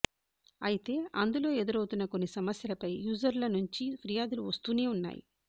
అయితే అందులో ఎదురవుతున్న కొన్ని సమస్యలపై యూజర్ల నుంచి ఫిర్యాదులు వస్తూనే ఉన్నాయి